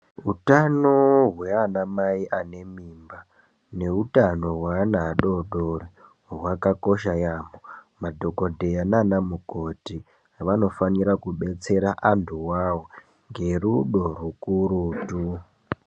Hutano hweana mai ane mimba neutano hweana adodori hwakakosha yaambo. Madhokodheya nana mukoti vanofanira kudetsera antuwawo ngerudo rukurutu.